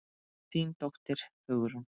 Þín dóttir, Hugrún.